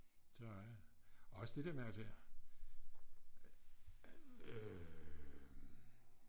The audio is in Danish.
det har jeg også det der med